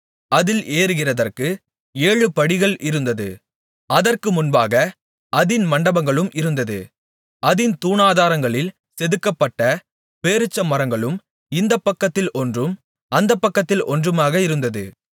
அதில் ஏறுகிறதற்கு ஏழு படிகள் இருந்தது அதற்கு முன்பாக அதின் மண்டபங்களும் இருந்தது அதின் தூணாதாரங்களில் செதுக்கப்பட்ட பேரீச்சமரங்களும் இந்தப் பக்கத்தில் ஒன்றும் அந்தப் பக்கத்தில் ஒன்றுமாக இருந்தது